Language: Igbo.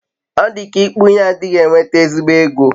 odika ikpu ihe adighi enweta ezigbo ego